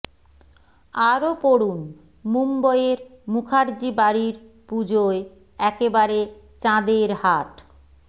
আরও পড়ুন মুম্বইয়ের মুখার্জি বাড়ির পুজোয় একেবারে চাঁদের হাট